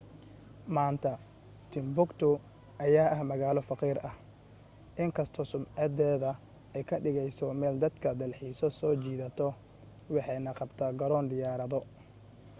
maanta timbuktu ayaa ah magaalo faqiir ah inkastoo sumcadeeda ay ka dhigayso meel dadka dalxiiso soo jiidato waxay na qabtaa garoon diyaarado